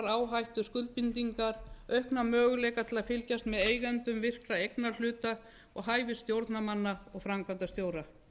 áhættuskuldbindingar aukna möguleika til að fylgjast með eigendum virkra eignarhluta og hæfi stjórnarmanna og framkvæmdarstjóra